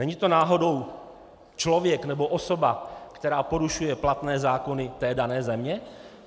Není to náhodou člověk nebo osoba, která porušuje platné zákony té dané země?